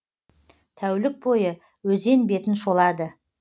тәулік бойы өзен бетін шолады